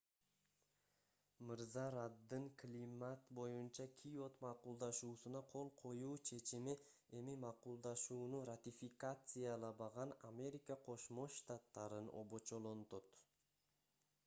мырза раддын климат боюнча киот макулдашуусуна кол коюу чечими эми макулдашууну ратификациялабаган америка кошмо штаттарын обочолонтот